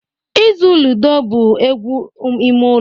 Ịzụ ludo bụ egwu ime ụlọ